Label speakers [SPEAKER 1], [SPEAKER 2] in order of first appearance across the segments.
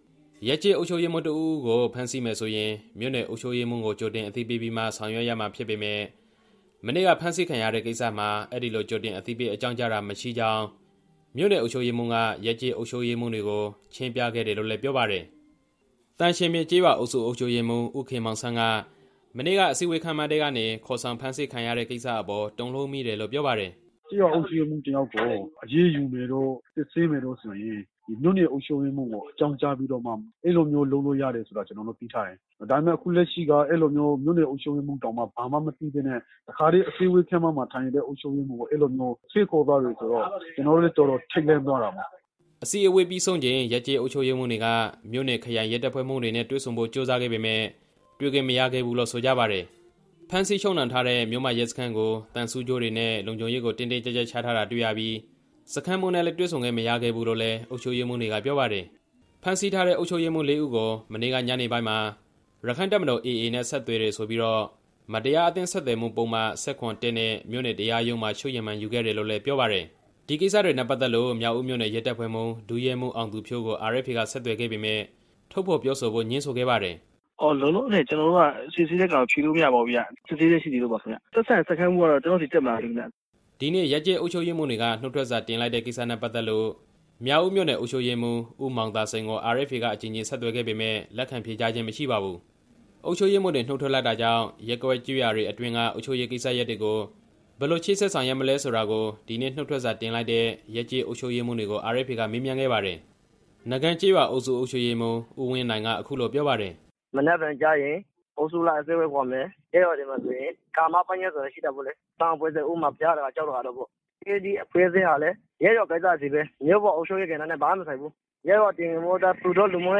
[SPEAKER 1] ။ ရပ်ကျေးအုပ်ချုပ်ရေးမှူးတစ်ဦးဦးကို ဖမ်းဆီးမယ်ဆိုရင် မြို့နယ်အုပ်ချုပ်ရေးမှူးကို ကြိုတင်အသိပေးပြီးမှ ဆောင်ရွက်ရမှာဖြစ်ပေမယ့် မနေ့က ဖမ်းဆီးခံရတဲ့ကိစ္စမှာ အဲဒီလိုကြိုတင်အသိပေး အကြောင်းကြားတာ မရှိကြောင်း မြို့နယ်အုပ်ချုပ်ရေးမှူးက ရပ်ကျေးအုပ်ချုပ်ရေးမှူးတွေကို ရှင်းပြခဲ့တယ်လို့လည်း ပြောပါတယ်။ သံရှင်ပြင်ကျေးရွာအုပ်စု အုပ်ချုပ်ရေးမှူး ဦးခင်မောင်ဆန်းက မနေ့က အစည်းအဝေးခန်းမထဲကနေ ခေါ်ဆောင်ဖမ်းဆီးခံရတဲ့ကိစ္စအပေါ် တုန်လှုပ်မိတယ်လို့ ပြောပါတယ်။ "ကျေးရွာအုပ်ချုပ်ရေးမှူးတစ်ယောက်ကို အရေးယူမယ်တို့၊ စစ်ဆေးမယ်တို့ဆိုလို့ရှိရင် မြို့နယ်အုပ်ချုပ်ရေးမှူးထံ အကြောင်းကြားပြီးတော့မှ အဲလိုမျိုးလုပ်လို့ရတယ်လို့ ကျွန်တော်တို့ သိထားပါတယ်။ ဒါပေမဲ့ အခုလက်ရှိကိစ္စက မြို့နယ်အုပ်ချုပ်ရေးမှူးတောင် ဘာမှမသိရဘဲနဲ့ အစည်းအဝေးခန်းမထဲမှာ ထိုင်နေတဲ့ အုပ်ချုပ်ရေးမှူးကို ဆွဲခေါ်သွားတယ်ဆိုတော့ ကျွန်တော်တို့လည်း တော်တော်ထိတ်လန့်သွားပါတယ်" အစည်းအဝေးပြီးချိန် ရပ်ကျေးအုပ်ချုပ်ရေးမှူးတွေက မြို့နယ်၊ ခရိုင်ရဲတပ်ဖွဲ့မှူးတွေနဲ့ တွေ့ဆုံဖို့ကြိုးစားခဲ့ပေမယ့် တွေ့ခွင့်မရခဲ့ဘူးလို့ ဆိုကြပါတယ်။ ဖမ်းဆီးချုပ်နှောင်ထားတဲ့ မြို့မရဲစခန်းကို သံဆူးကြိုးတွေနဲ့ လုံခြုံရေးကို တင်းတင်းကျပ်ကျပ် ချထားတာတွေ့ရပြီး စခန်းမှူးနဲ့လည်း တွေ့ဆုံခွင့်မရခဲ့ဘူးလို့လည်း အုပ်ချုပ်ရေးမှူးတွေက ပြောပါတယ်။ ဖမ်းဆီးထားတဲ့ အုပ်ချုပ်ရေးမှူး လေးဦးကို ညနေပိုင်းမှာ ရက္ခိုင့်တပ်မတော် (AA)နဲ့ ဆက်သွယ်တယ်ဆိုပြီးတော့ မတရားအသင်းဆက်သွယ်မှုပုဒ်မ-၁၇(၁)နဲ့ မြို့နယ်တရားရုံးမှာ ချုပ်ရမန်ယူခဲ့တယ်လို့လည်း ပြောပါတယ်။ ဒီကိစ္စတွေနဲ့ပတ်သက်လို့ မြောက်ဦးမြို့နယ်ရဲတပ်ဖွဲ့မှူး ဒုရဲမှူးအောင်သူဖြိုးကို RFA က ဆက်သွယ်ခဲ့ပေမယ့် ထုတ်ဖော်ပြောဖို့ ငြင်းဆိုခဲ့ပါတယ်။ "လောလောဆယ် စစ်ဆေးနေတာကို ကျွန်တော်တို့က ဖြေလို့မရဘူးဗျ။ စစ်ဆေးဆဲဖြစ်နေလို့ပါခင်ဗျ။ သက်ဆိုင်ရာစခန်းမှူးဆီကလည်း ကျွန်တော့ဆီ တက်မလာသေးဘူးဗျ" ဒီနေ့ ရပ်ကျေးအုပ်ချုပ်ရေးမှူးတွေ နုတ်ထွက်စာတင်လိုက်တာနဲ့ပတ်သက်လို့ မြောက်ဦးမြို့နယ် အုပ်ချုပ်ရေးမှူး ဦးမောင်သာစိန်ကို RFA က အကြိမ်ကြိမ်ဆက်သွယ်ခဲ့ပေမယ့် လက်ခံဖြေကြားခြင်းမရှိပါဘူး။ အုပ်ချုပ်ရေးမှူးတွေနှုတ်ထွက်လိုက်တာကြောင့် ရပ်ကွက်ကျေးရွာတွေအတွင်းက အုပ်ချုပ်ရေးကိစ္စရပ်တွေကို ဘယ်လိုဆောင်ရွက်မလဲလို့ ဒီနေ့ နုတ်ထွက်စာတင်လိုက်တဲ့ ရပ်ကျေးအုပ်ချုပ်ရေးမှူးတွေကို RFA က မေးမြန်းခဲ့ပါတယ်။ နကန်ကျေးရွာအုပ်စု အုပ်ချုပ်ရေးမှူး ဦးဝင်းနိုင်က အခုလို ပြောပါတယ်။ "မနက်ဖြန်မှာ အုပ်စုလိုက် အစည်းအဝေးခေါ်ပါမယ်။ ရပ်ရွာထဲမှာဆိုရင် ဂါမပညတ်ဆိုတာရှိပါတယ်။ အသင်းအဖွဲ့အစည်းတွေ၊ ဥပမာ- ဘုရားဒကာ ကျောင်းဒကာတို့ပေါ့။ သူတို့တွေကတော့ ရပ်ရွာကိစ္စ လောက်ပဲဆိုင်တာပေါ့။ မြို့နယ်အုပ်ချုပ်ရေးကိစ္စနဲ့တော့ မပတ်သက်ဘူးပေါ့။ ရပ်ရွာတည်ငြိမ်မှုအတွက် သူတို့ကိုပဲ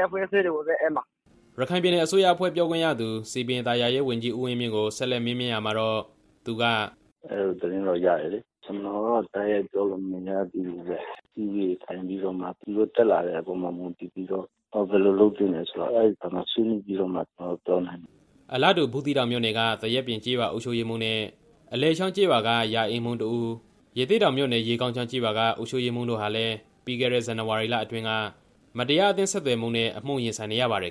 [SPEAKER 1] အပ်မှာပါ" ရခိုင်ပြည်နယ်အစိုးရအဖွဲ့ ပြောခွင့်ရသူ စည်ပင်သာယာရေးဝန်ကြီး ဦးဝင်းမြင့်ကို ဆက်လက်မေးမြန်းရာမှာတော့ သူက - "အဲဒီသတင်းကိုတော့ ရထားပါတယ်။ ကျွန်တော့အနေနဲ့ တိုက်ရိုက်ပြောလို့ မရသေးဘူးဗျ။ သူုတို့ဆီက တက်လာတဲ့အပေါ်မူတည်ပြီးတော့ အစည်းအဝေးတွေထိုင်ပြီး ဘယ်လိုလုပ်သင့်တယ်ဆိုတာကို ဆွေးနွေးပြီးတော့မှ ကျွန်တော်တို့ ပြောနိုင်ပါမယ်" အလားတူ ဘူးသီးတောင်မြို့နယ်က သရက်ပြင်ကျေးရွာအုပ်ချုပ်ရေးမှူးနဲ့ အလယ်ချောင်းကျေးရွာက ရာအိမ်မှူးတစ်ဦး၊ ရသေ့တောင် ရေကောင်းချောင်းကျေးရွာအုပ်ချုပ်ရေးမှူးတို့ ဟာလည်း ပြီးခဲ့တဲ့ ဇန်နဝါရီလအတွင်း မတရားအသင်းဆက်သွယ်မှုနဲ့ အမှုရင်ဆိုင်နေရပါတယ်